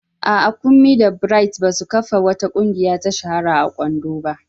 A'a, Kunmi da Bright ba su kafa wata ƙungiya ta shahara a Ondo ba.